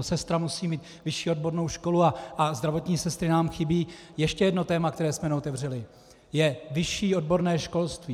sestra musí mít vyšší odbornou školu, a zdravotní sestry nám chybí, ještě jedno téma, které jsme neotevřeli, je vyšší odborné školství.